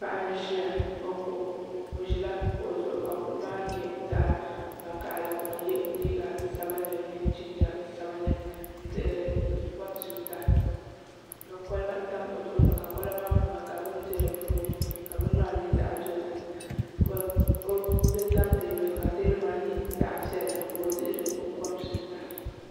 Paɣa n ʒiya o ko o ʒila kuɣu zuɣu ka kuɣu maa nyɛ zaɣ vakaɣali ka o yɛ liiga sabinli mini jinjɛm sabinli n dihiri kompiuta ka kolba tam o tooni ka kolba maa puuni ka bini bɛ dinni ka bini maa nyɛ zaɣ dozim ka di tam teebuli zuɣu ka teebuli maa nyɛ zaɣ piɛlli ka o dihiri o kompiuta